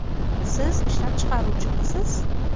Siz ishlab chiqaruvchimisiz?